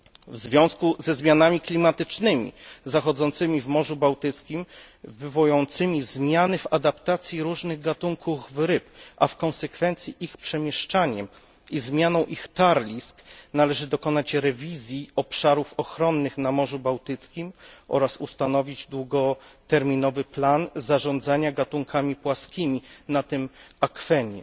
W związku ze zmianami klimatycznymi zachodzącymi w Morzu Bałtyckim wywołującymi zmiany w adaptacji różnych gatunków ryb, a w konsekwencji ich przemieszczaniem i zmianą ich tarlisk, należy dokonać rewizji obszarów ochronnych na Morzu Bałtyckim oraz ustanowić długoterminowy plan zarządzania gatunkami płaskimi na tym akwenie.